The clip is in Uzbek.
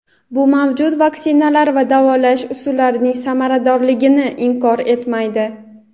bu mavjud vaksinalar va davolash usullarining samaradorligini inkor etmaydi.